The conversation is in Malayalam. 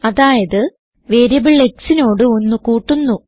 അതായത് വേരിയബിൾ xനോട് 1 കൂട്ടുന്നു